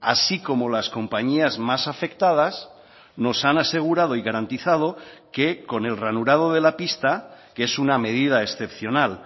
así como las compañías más afectadas nos han asegurado y garantizado que con el ranurado de la pista que es una medida excepcional